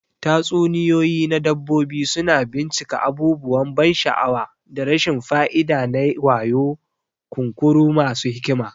Tatsuniyoyi na dabbobi suna bincika abubuwan ban sha'awa da rashin fa'ida na wayo, kunkuru masu hikima.